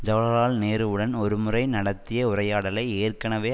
ஜவஹர்லால் நேருவுடன் ஒருமுறை நடத்திய உரையாடலை ஏற்கனவே